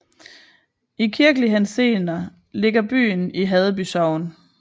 I kirkelig henseende ligger byen i Haddeby Sogn